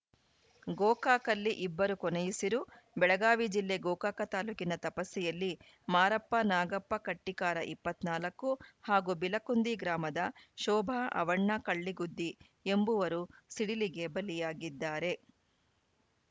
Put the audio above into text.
ಗೋಕಾಕಲ್ಲಿ ಇಬ್ಬರು ಕೊನೆಯುಸಿರು ಬೆಳಗಾವಿ ಜಿಲ್ಲೆ ಗೋಕಾಕ ತಾಲೂಕಿನ ತಪಸ್ಸಿಯಲ್ಲಿ ಮಾರಪ್ಪ ನಾಗಪ್ಪ ಕಟ್ಟಿಕಾರ ಇಪ್ಪತ್ತ್ ನಾಲ್ಕು ಹಾಗೂ ಬಿಲಕುಂದಿ ಗ್ರಾಮದ ಶೋಭಾ ಅವ್ವಣ್ಣ ಕಳ್ಳಿಗುದ್ದಿ ಎಂಬುವರು ಸಿಡಿಲಿಗೆ ಬಲಿಯಾಗಿದ್ದಾರೆ